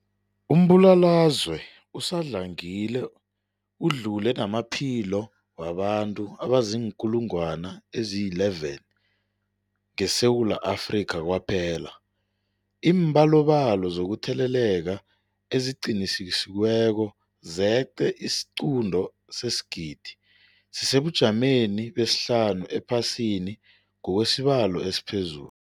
Umbulalazwe usadlangile udlule namaphilo wabantu abaziinkulungwana ezi-11 ngeSewula Afrika kwaphela. Iimbalobalo zokutheleleka eziqinisekisiweko zeqe isiquntu sesigidi, sisesebujameni besihlanu ephasini ngokwesibalo esiphezulu.